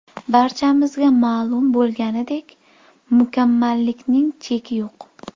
Barchamizga ma’lum bo‘lganiday, mukammallikning cheki yo‘q.